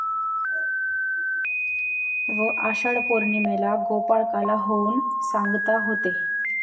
व आषाढ पौर्णिमेला गोपाळकाला होऊन सांगता होते.